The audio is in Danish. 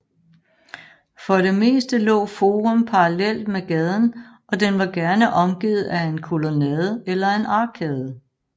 For det meste lå forum parallelt med gaden og den var gerne omgivet af en kolonnade eller en arkade